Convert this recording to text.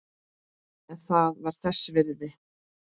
En það var þess virði.